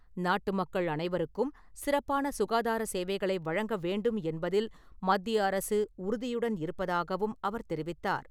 நாட்டு மக்கள் அனைவருக்கும் சிறப்பான சுகாதார சேவைகளை வழங்க வேண்டும் என்பதில் மத்திய அரசு உறுதியுடன் இருப்பதாகவும் அவர் தெரிவித்தார்.